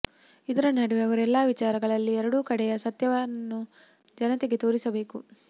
ಇದರ ನಡುವೆ ಅವರು ಎಲ್ಲ ವಿಚಾರಗಳಲ್ಲಿ ಎರಡೂ ಕಡೆಯ ಸತ್ಯವನ್ನು ಜನತೆಗೆ ತೋರಿಸಬೇಕು